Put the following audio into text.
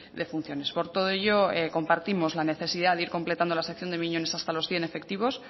de funciones por todo ello compartimos la necesidad de ir completando la sección de miñones hasta los cien efectivos